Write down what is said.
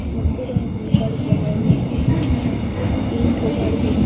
देखते रेहनी उ गाड़ी लगा हुआ है लाइन से तीन ठो गाड़ी है।